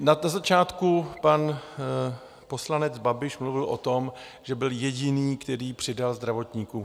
Na začátku pan poslanec Babiš mluvil o tom, že byl jediný, který přidal zdravotníkům.